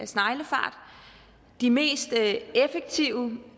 sneglefart de mest effektive